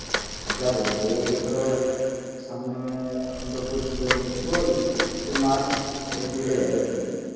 যাবো যাবো এই ধরো সামনে এখন তো চলছে ফেব্রুয়ারি তো মার্চ এপ্রিলে যাব এপ্রিল